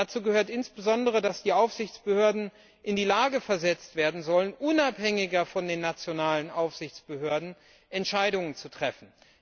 Dazu gehört insbesondere, dass die Aufsichtsbehörden in die Lage versetzt werden sollen, unabhängiger von den nationalen Aufsichtsbehörden Entscheidungen zu treffen.